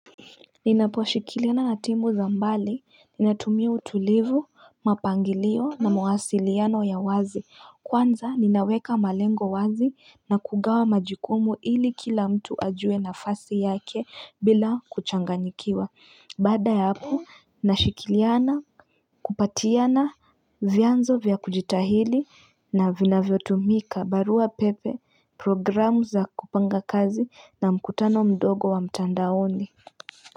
Ninaposhirikiana na timu za mbali, ninatumia utulivu, mpangilio na mawasiliano ya wazi, kwanza ninaweka malengo wazi na kugawa majukumu ili kila mtu ajue nafasi yake bila kuchanganyikiwa, baada ya hapo nashirikiana kupatiana vyanzo vyakujitahili na vinavyotumika barua pepe programu za kupanga kazi na mkutano mdogo wa mtandaoni.